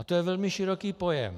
A to je velmi široký pojem.